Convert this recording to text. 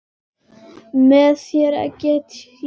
Með þér get ég allt.